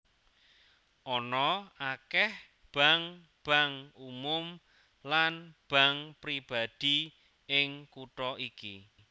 Ana akèh bank bank umum lan bank pribadi ing kutha iki